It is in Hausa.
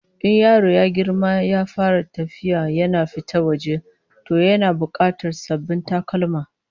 In yaro ya girma ya fara tafiya yana fita waje, to yana bukatar sabbin takalma